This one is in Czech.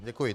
Děkuji.